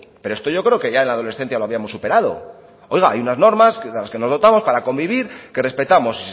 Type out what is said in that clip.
pero esto yo creo que ya en la adolescencia lo habíamos superado oiga hay unas normas de las que nos dotamos para convivir que respetamos